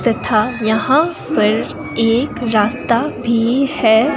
तथा यहां पर एक रास्ता भी है।